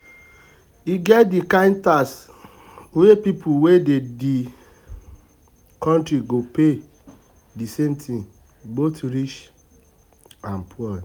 E get di kind tax wey pipo wey dey di country go pay di same thing both rich and poor